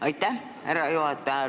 Aitäh, härra juhataja!